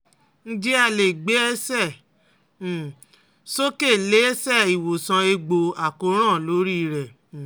Njẹ a le gbe ẹsẹ um soke le se iwosan egbo akoran lori re um